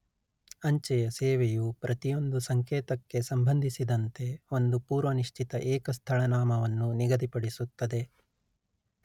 ಅಂಚೆಯ ಸೇವೆಯು ಪ್ರತಿಯೊಂದು ಸಂಕೇತಕ್ಕೆ ಸಂಬಂಧಿಸಿದಂತೆ ಒಂದು ಪೂರ್ವನಿಶ್ಚಿತ ಏಕ ಸ್ಥಳನಾಮವನ್ನು ನಿಗದಿಪಡಿಸುತ್ತದೆ